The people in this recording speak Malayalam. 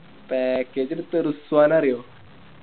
Package എടുത്തേ റിസ്‌വാനേ അറിയോ